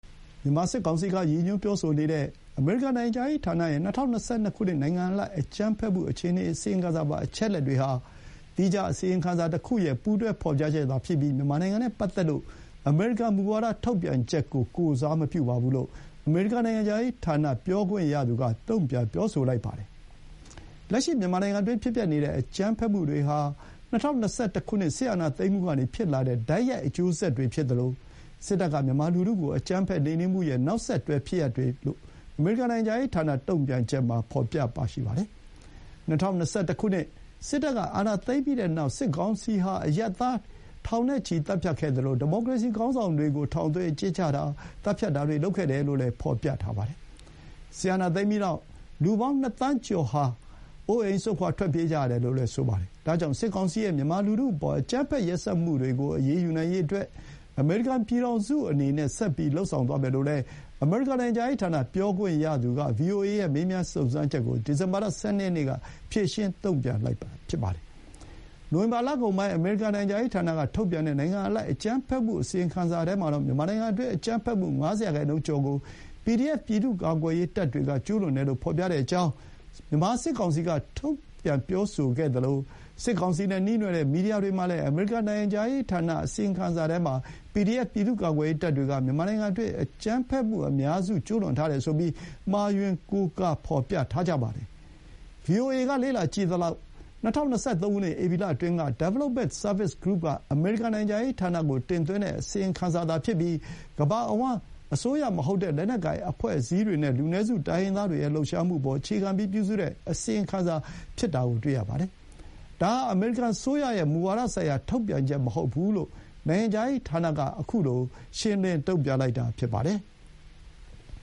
မြန်မာစစ်ကောင်စီက ရည်ညွှန်းပြောဆိုနေတဲ့ အမေရိကန်နိုင်ငံခြားရေးဌာနရဲ့ ၂၀၂၂ ခုနှစ် နိုင်ငံအလိုက် အကြမ်းဖက်မှုအခြေအနေအစီရင်ခံစာပါ အချက်အလက်တွေဟာ သီးခြားအစီရင်ခံစာတခုရဲ့ ပူးတွဲဖော်ပြချက်သာဖြစ်ပြီး မြန်မာနိုင်ငံနဲ့ပတ်သက်လို့ အမေရိကန်မူဝါဒထုတ်ပြန်ချက်ကို ကိုယ်စားမပြုပါဘူးလို့ အမေရိကန်နိုင်ငံခြားရေးဌာနပြောခွင့်ရသူက တုံ့ပြန်ပြောဆိုလိုက်ပါတယ်။ ‘လက်ရှိမြန်မာနိုင်ငံတွင်း ဖြစ်ပျက်နေတဲ့ အကြမ်းဖက်မှုတွေဟာ ၂၀၂၁ ခုနှစ် စစ်အာဏာသိမ်းမှုကနေ ဖြစ်လာတဲ့ တိုက်ရိုက်အကျိုးဆက်တွေဖြစ်သလို စစ်တပ်က မြန်မာလူထုကို အကြမ်းဖက်နှိမ်နင်းမှုရဲ့ နောက်ဆက်တွဲဖြစ်ရပ်တွေ’ လို့ အမေရိကန်နိုင်ငံခြားရေးဌာနတုံ့ပြန်ချက်မှာ ဖော်ပြပါရှိပါတယ်။ ၂၀၂၁ ခုနှစ် စစ်တပ်ကအာဏာသိမ်းပြီးတဲ့နောက် စစ်ကောင်စီဟာ အရပ်သားထောင်နဲ့ချီသတ်ဖြတ်ခဲ့သလို ဒီမိုကရေစီခေါင်းဆောင်တွေကို ထောင်သွင်းအကျဉ်းချတာ၊ သတ်ဖြတ်တာတွေလုပ်ခဲ့တယ်လို့လည်း ဖော်ပြပါတယ်။ စစ်အာဏာသိမ်းပြီးနောက် လူပေါင်းနှစ်သန်းကျော်ဟာလည်း အိုးအိမ်စွန့်ခွာထွက်ပြေးကြရတယ်လို့ဆိုပါတယ်။ ဒါကြောင့် စစ်ကောင်စီရဲ့ မြန်မာလူထုအပေါ် အကြမ်းဖက်ရက်စက်မှုတွေကို အရေးယူနိုင်ရေးအတွက် အမေရိကန်ပြည်ထောင်စုအနေနဲ့ ဆက်ပြီး လုပ်ဆောင်သွားမယ်လို့လည်း အမေရိကန်နိုင်ငံခြားရေးဌာနပြောခွင့်ရသူက VOA ရဲ့ မေးမြန်းစုံစမ်းချက်ကို ဒီဇင်ဘာလ ၁၂ ရက်နေ့က ဖြေရှင်းတုံ့ပြန်လိုက်တာဖြစ်ပါတယ်။ နိုဝင်ဘာလကုန်ပိုင်း အမေရိကန်နိုင်ငံခြားရေးဌာနကထုတ်ပြန်တဲ့ နိုင်ငံအလိုက်အကြမ်းဖက်မှုအစီရင်ခံစာထဲမှာ မြန်မာနိုင်ငံတွင်းအကြမ်းဖက်မှု ၅၀ရာခိုင်နှုန်းကျော်ကို PDF ပြည်သူ့ကာကွယ်ရေးတပ်တွေက ကျူးလွန်တယ်လို့ ဖော်ပြတဲ့အကြောင်း မြန်မာစစ်ကောင်စီက ထုတ်ပြန်ပြောဆိုခဲ့သလို စစ်ကောင်စီနဲ့ နှီးနွယ်တဲ့ မီဒီယာတွေမှာလည်း အမေရိကန်နိုင်ငံခြားရေးဌာန အစီရင်ခံစာထဲမှာ PDF ပြည်သူ့ကာကွယ်ရေးတပ်တွေက မြန်မာနိုင်ငံတွင်းအကြမ်းဖက်မှုအများစုကို ကျူးလွန်ထားတယ်ဆိုပြီး မှားယွင်းကိုးကားဖော်ပြထားပါတယ်။ ဗွီအိုအေက လေ့လာကြည့်သလောက် ၂၀၂၃ ခုနှစ် ဧပြီလအတွင်းက Development Service Group က အမေရိကန်နိုင်ငံခြားရေးဌာနကို တင်သွင်းတဲ့အစီရင်ခံစာဖြစ်ပြီး ကမ္ဘာအဝှမ်း အစိုးရမဟုတ်တဲ့ လက်နက်ကိုင်အဖွဲ့အစည်းတွေနဲ့ လူနည်းစုတိုင်းရင်းသားတွေရဲ့ လှုပ်ရှားမှုအပေါ်အခြေခံပြီး ပြုစုတဲ့ အစီရင်ခံစာဖြစ်တာတွေ့ရပါတယ်။ ဒါဟာ အမေရိကန်အစိုးရရဲ့ မူဝါဒဆိုင်ရာထုတ်ပြန်ချက်မဟုတ်ဘူးလို့ နိုင်ငံခြားရေးဌာနက အခုလို ရှင်းလင်းတုံ့ပြန်လိုက်တာဖြစ်ပါတယ်။